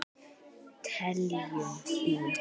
Teljum í!